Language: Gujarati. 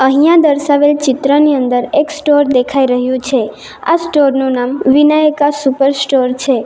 અહીંયા દર્શાવેલ ચિત્રની અંદર એક સ્ટોર દેખાઈ રહ્યું છે આ સ્ટોર નું નામ વિનાયકા સુપર સ્ટોર છે.